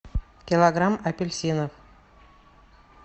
килограмм апельсинов